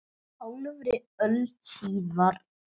Hálfri öld síðar.